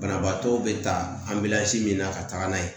Banabaatɔw be ta anbila ji min na ka taga n'a ye